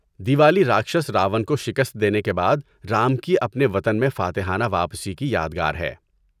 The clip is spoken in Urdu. دیوالی راکھشس راون کو شکست دینے کے بعد رام کی اپنے وطن میں فاتحانہ واپسی کی یادگار ہے۔